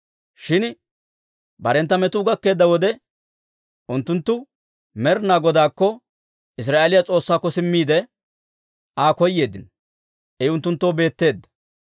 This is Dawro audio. Shin barentta metuu gakkeedda wode, unttunttu Med'inaa Godaakko, Israa'eeliyaa S'oossaakko simmiide, Aa koyeeddino; I unttunttoo beetteedda.